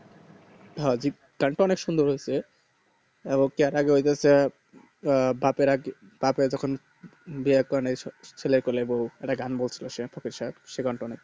অধিক গান তা অনেক সুন্দর হয়েছে ক্যারা কইতেসে বাপের এক বাপের যখন বিয়ের চিলেরে কোলে বৌ একটা গান করেছিল সে সেই গান তও অনেক ভালো